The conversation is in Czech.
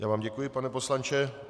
Já vám děkuji, pane poslanče.